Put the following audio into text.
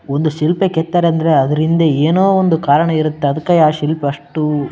ಒಂದು ಶಿಲ್ಫ್ ಕೆತ್ತನೆ ಅಂದ್ರೆ ಅದ್ರ ಹಿಂದೆ ಏನೋ ಒಂದು ಕರಣ ಇರತ್ತೆ ಅದಕ್ಕೆ ಆ ಶಿಲ್ಫ್ ಅಷ್ಟು --